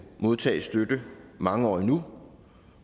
modtage støtte mange år endnu